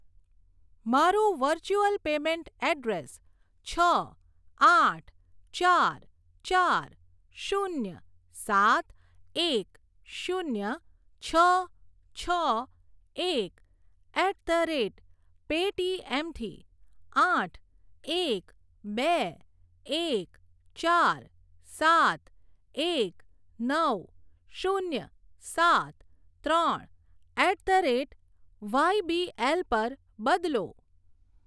મારું virtual payment address છ આઠ ચાર ચાર શૂન્ય સાત એક શૂન્ય છ છ એક એટ ધ રેટ પેટીએમ થી આઠ એક બે એક ચાર સાત એક નવ શૂન્ય સાત ત્રણ એટ ધ રેટ વાયબીએલ પર બદલો.